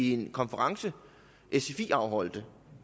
i en konference sfi afholdte